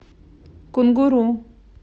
кунгуру